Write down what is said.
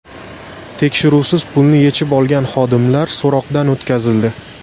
Tekshiruvsiz pulni yechib olgan xodimlar so‘roqdan o‘tkazildi.